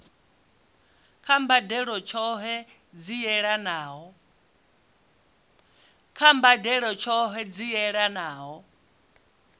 kha mbadelo tshohe dzi yelanaho